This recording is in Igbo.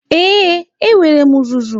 Ee, enwere m uzuzu.